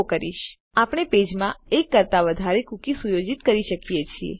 તો તમે જુઓ આપણે પેજ માં એક કરતા વધારે કુકી સુયોજિત કરી શકીએ છીએ